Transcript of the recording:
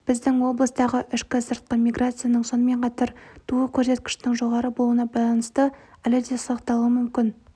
біздің облыстағы ішкі сыртқы миграцияның сонымен қатар туу көрсеткішінің жоғары болуына байланысты әлі де сақталуы мүмкін